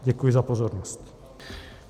Děkuji za pozornost.